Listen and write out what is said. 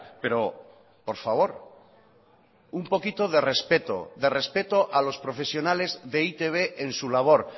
pero por favor un poquito de respeto de respeto a los profesionales de e i te be en su labor